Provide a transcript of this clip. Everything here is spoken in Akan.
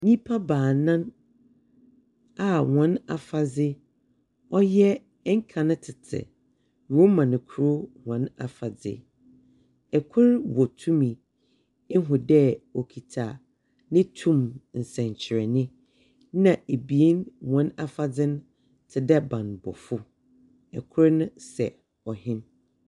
Nipa baanan a wɔn afadze ɔyɛ ɛnkane tete Roman kro wɔn afadze. Ɛkro wɔ tumi. Ehu dɛɛ wɔkita ne tum nsɛnkyerɛne. Na ebien wɔn afadze no te dɛɛ banbɔfo. Ɛkro ne sɛ ɔhen.